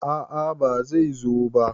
A`a bai zo ba